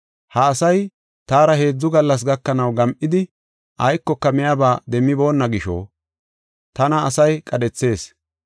“Ha asay taara heedzu gallas gakanaw gam7idi, aykoka miyaba demmiboonna gisho, tana asay qadhethees.